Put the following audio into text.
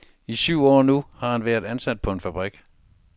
I syv år nu har han været ansat på en fabrik.